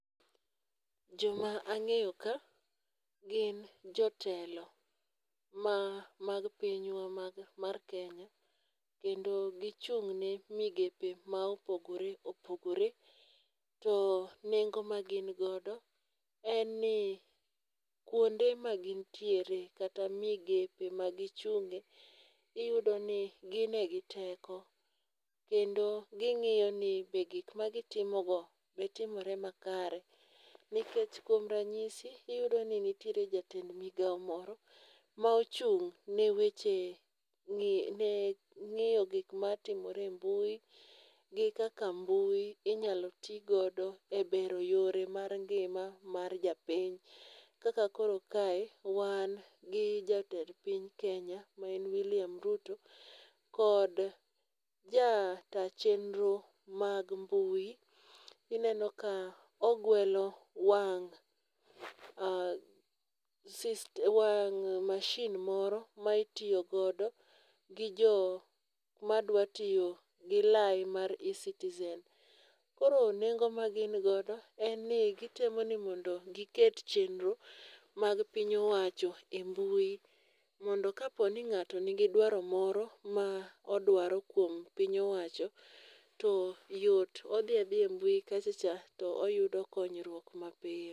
Joma ang'eyo ka gin jotelo ma mag pinywa mag mar Kenya. Kendo gichung' ne migepe ma opogore opogore. To nengo ma gin godo en ni kuonde ma gin ntiere kata migepe maginchung'e, iyudo ni gin e gi teko. Kendo ging'iyo ni be gik ma gitimo go be timore makare. Nikech kuom ranyisi, iyudo ni nitiere jatend migawo moro ma ochung' ne weche ne ng'iyo gik matimore e mbui. Gi kaka mbui inyalo ti godo e bero yore mar ngima mar jopiny. Kaka koro kae, wan gi jatend piny Kenya ma en William Ruto, kod ja ta chenro mag mbui. Ineno ka ogwelo wang' um wang' machine moro ma itiyo godo gi jo madwa tiyo gi line mar ecitizen. Koro nengo ma gin godo en ni gitemo ni mondo giket chenro mag piny owacho e mbui, mondo ka po ni ng'ato nigi dwaro moro ma odwaro kuom piny owacho to yot. Odhi adhiya e mbui kacha cha to oyudo konyruok ma piyo.